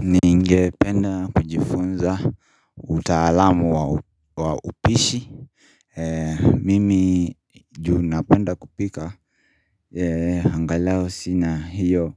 Ninge penda kujifunza utaalamu wa upishi Mimi juu napenda kupika Hangalao sina hiyo